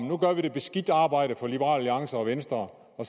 nu gør vi det beskidte arbejde for liberal alliance og venstre og